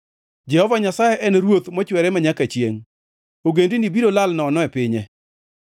Jehova Nyasaye en Ruoth mochwere manyaka chiengʼ; ogendini biro lal nono e pinye.